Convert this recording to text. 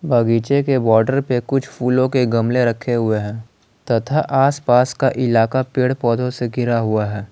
बगीचे के बॉर्डर पे कुछ फूलों के गमले रखे हुए है तथा आस पास का इलाका पेड़ पौधों से घिरा हुआ है।